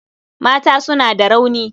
Mata suna da rauni.